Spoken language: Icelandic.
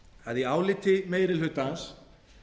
að í áliti meiri hlutans